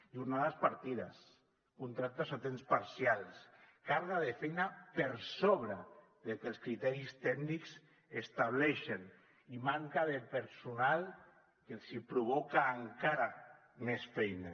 jornades partides contractes a temps parcial càrrega de feina per sobre del que els criteris tècnics estableixen i manca de personal que els provoca encara més feina